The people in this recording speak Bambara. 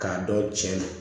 K'a dɔn cɛn do